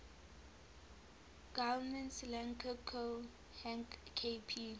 guillemets lang ko hang kp